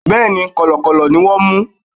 Bẹ́ẹ̀ni, Kọ̀lọ̀kọ̀lọ̀ ni wón mú.